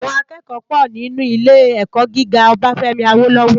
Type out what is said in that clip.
Àwòn àkèkò pò ninú ilé èkò gigá Obafemi Awolowo